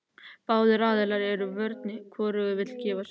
Báðir aðilar eru í vörn og hvorugur vill gefa sig.